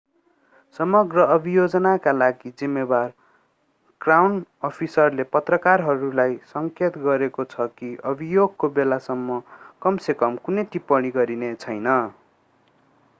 समग्र अभियोजनका लागि जिम्मेवार क्राउन अफिसले पत्रकारहरूलाई संकेत गरेको छ कि अभियोगको बेलासम्म कम से कम कुनै टिप्पणी गरिने छैन